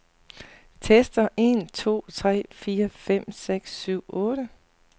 Tester en to tre fire fem seks syv otte.